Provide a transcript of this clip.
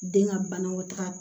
Den ka banakɔtaga